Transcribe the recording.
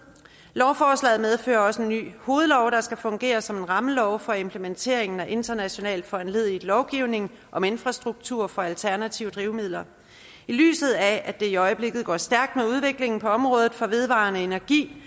lovforslaget medfører også en ny hovedlov der skal fungere som en rammelov for implementeringen af internationalt foranlediget lovgivning om infrastruktur for alternative drivmidler i lyset af at det i øjeblikket går stærkt med udviklingen på området for vedvarende energi